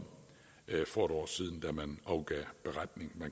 for et år siden da man afgav beretningen